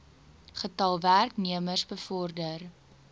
getal werknemers bevorder